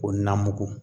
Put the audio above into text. Ko na mugu